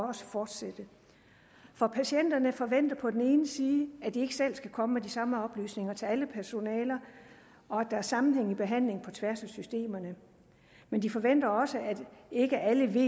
fortsætte for patienterne forventer på den ene side at de ikke selv skal komme med de samme oplysninger til alle personaler og at der er sammenhæng i behandlingen på tværs af systemerne men de forventer også at ikke alle ved